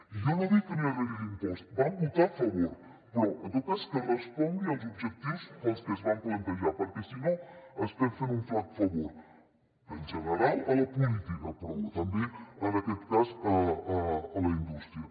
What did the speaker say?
i jo no dic que no hi ha d’haver hi l’impost vam votar a favor però en tot cas que respongui als objectius pels quals es va plantejar perquè si no estem fent un flac favor en general a la política però també en aquest cas a la indústria